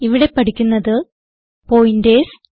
ഇവിടെ പഠിക്കുന്നത് പോയിന്റേർസ്